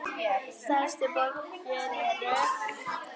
Stærstu borgir eru